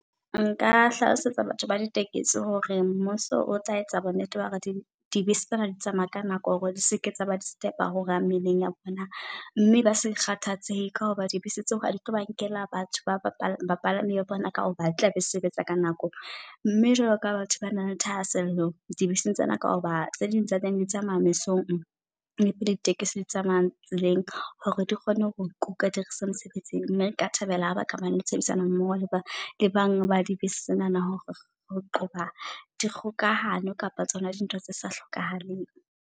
Nka hlalosetsa batho ba ditekesi hore mmuso o tla etsa bo nnete ba hore di di bese tsena di tsamaya ka nako. Hore di seke tsa ba di disturb hora mmileng ya bona, mme ba se kgathatsehe. Ka hoba di bese tseo ha ditlo ba nkela batho ba bapala bapalami ba bona. Ka hoba di tlabe di sebetsa ka nako, mme jwalo ka ha batho bana le thahasello dibeseng tsena. Ka hoba tse ding tsa teng le tsamaya mesong le di tekesi tse tsamaya tseleng, hore di kgone ho kuka di re ise mosebetsing. Nna nka thabela ha ba ka ba le tshebedisano mmoho le ba le banga ba di bese tsenana. Hore ho qoba di kgokahano kapa tsona di ntho tse sa hlokahaleng.